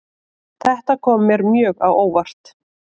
Þetta kom mér mjög á óvart